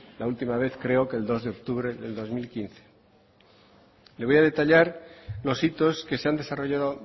la última vez creo que el dos de octubre del dos mil quince le voy a detallar los hitos que se han desarrollado